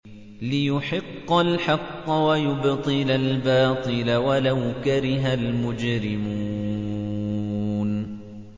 لِيُحِقَّ الْحَقَّ وَيُبْطِلَ الْبَاطِلَ وَلَوْ كَرِهَ الْمُجْرِمُونَ